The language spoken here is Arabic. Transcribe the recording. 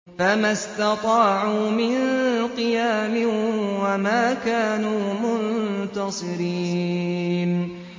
فَمَا اسْتَطَاعُوا مِن قِيَامٍ وَمَا كَانُوا مُنتَصِرِينَ